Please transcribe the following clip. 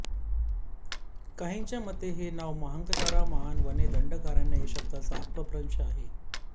काहींच्या मते हे नाव महाकंतारा महान वने दंडकारण्य या शब्दाचा अपभ्रंश आहे